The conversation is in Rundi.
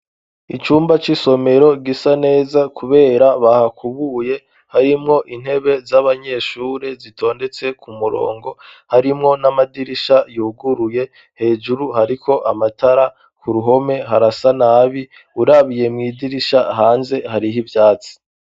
Icumba c'isomero gisa neza, kubera bahakubuye harimwo intebe z'abanyeshure zitondetse ku murongo harimwo n'amadirisha yuguruye hejuru hariko amatara ku ruhome harasa nabi urabiye mw'idirisha hanze hariho ivyatsi.